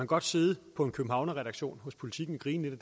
godt sidde på en københavnerredaktion på politiken og grine